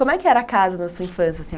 Como é que era a casa na sua infância assim?